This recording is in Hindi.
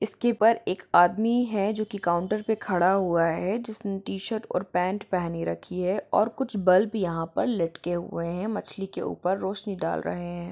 इसके पर एक आदमी है जो के काउंटर पे खड़ा हुआ है जिसने टीशर्ट और पैंट पहनी रखी है और खुच बल्ब यहां पर लटके हुए है मछली के ऊपर रौशनी दाल रहे है।